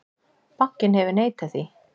Bankinn hefur neitað því.